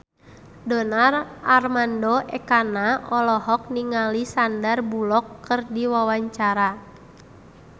Donar Armando Ekana olohok ningali Sandar Bullock keur diwawancara